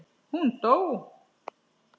Hún dó!